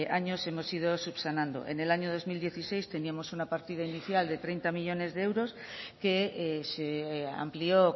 años hemos ido subsanando en el año dos mil dieciséis teníamos una partida inicial de treinta millónes de euros que se amplió